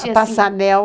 Passanel.